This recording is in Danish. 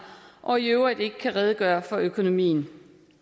og i øvrigt ikke kan redegøre for økonomien